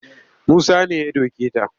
Musa ne ya doke ta